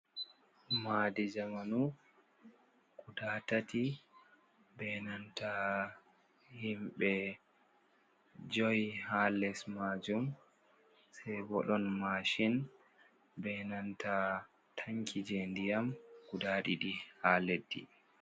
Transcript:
Maadi zamanu guda tati, be nanta himɓe joyi haa les maajum. Sey bo ɗon masin, be nanta tanki jey ndiyam guda ɗiɗi haa leddi.